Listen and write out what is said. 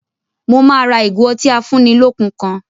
Mo máa ra ìgò otí afúnnilọ́kun kan